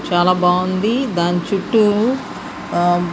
చాలా బాగుంది. దాని చుట్టూ ఆ --